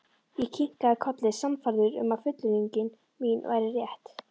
Ég kinkaði kolli, sannfærður um að fullyrðing mín væri rétt.